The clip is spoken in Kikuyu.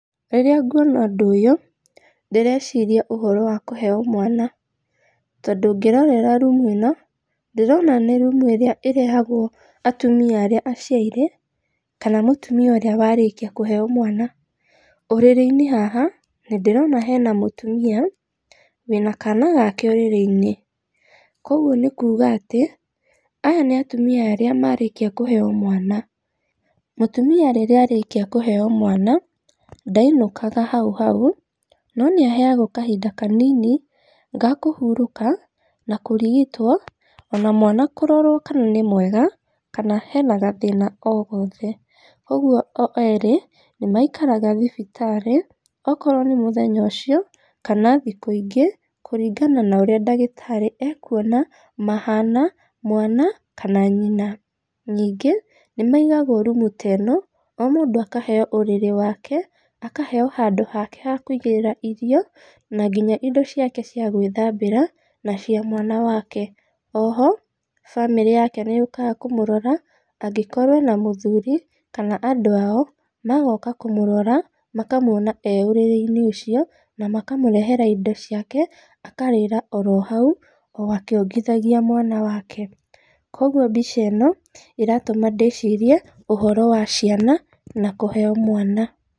Rĩrĩa nguona ũndũ ũyũ, ndĩreciria ũhoro wa kũheo mwana, tondũ ũngĩrorera rumu ĩno, ndĩrona nĩ rumu ĩrĩa ĩrehagwo atumia arĩa aciairĩ, kana mũtumia ũrĩa warĩkia kũheo mwana. Ũrĩrĩ-inĩ haha, nĩndĩrona hena mũtumia, wĩna kana gake ũrĩrĩ-inĩ, koguo nĩkuuga atĩ, aya nĩatumia arĩa marĩkia kũheo mwana. Mũtumia rĩrĩa arĩkia kũheo mwana, ndainũkaga hauhau, no nĩaheagwo kahinda kanini, ga kũhurũka na kũrigitwo, ona mwana kũrorwo kana nĩ mwega, kana hena gathĩna oo gothe. Ũguo o erĩ nĩmaikaraga thibitarĩ, okorwo nĩ mũthenya ũcio, kana thikũ ĩngĩ, kũringana na ũrĩa ndagĩtarĩ e kuona mahana, mwana, kana nyina. Ningĩ, nĩmaigagwo rumu ta ĩno, mũndũ akaheo ũrĩrĩ wake, akaheo handũ hake ha kũigĩrĩra irio, na nginya indo ciake cia gwĩthambira, na cia mwana wake. Oho, bamĩrĩ yake nĩ yũkaga kũmũrora, angĩkorwo ena mũthuri, kana andũ ao, magoka kũmũrora, makamuona e ũrĩrĩ-inĩ ucio, na makamũrehera indo ciake, akarĩra oro hau, o akĩongithagia mwana wake. Koguo mbica ĩno, ĩratũma ndĩcirie, ũhoro wa ciana, na kũheo mwana.